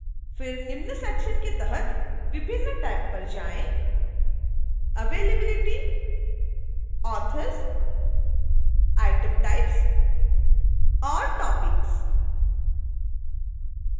फिर निम्न सेक्शन्स के तहत विभिन्न टैब पर जाएं: